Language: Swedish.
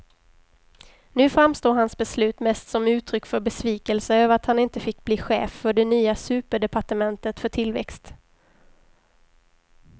Nu framstår hans beslut mest som uttryck för besvikelse över att han inte fick bli chef för det nya superdepartementet för tillväxt.